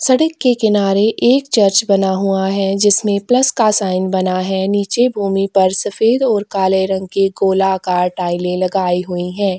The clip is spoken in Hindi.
सड़क के किनारे एक चर्च बना हुआ है जिसमें प्लस का साइन बना है नीचे भूमि पर सफेद और काले रंग के गोलाकार टाइलें लगाई हुई हैं।